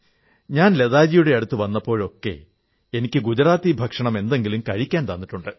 ഞാൻ ലതാജിയുടെ അടുത്തു വന്നപ്പോഴൊക്കെ എനിക്ക് ഗുജറാത്തി ഭക്ഷണം എന്തെങ്കിലും കഴിക്കാൻ തന്നിട്ടുണ്ട്